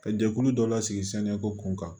Ka jɛkulu dɔ la sigi ko kun kan